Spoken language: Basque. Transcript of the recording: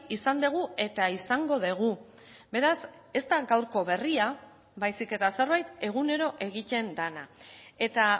izan dugu eta izango dugu beraz ez da gaurko berria baizik eta zerbait egunero egiten dena eta